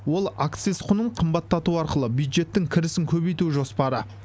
ол акциз құнын қымбаттату арқылы бюджеттің кірісін көбейту жоспары